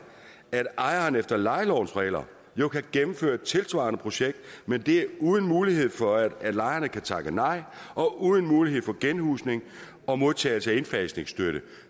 at ejeren efter lejelovens regler jo kan gennemføre et tilsvarende projekt men det er uden mulighed for at lejerne kan takke nej og uden mulighed for genhusning og modtagelse af indfasningsstøtte